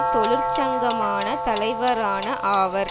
தொழிற்சங்கமான தலைவரான ஆவர்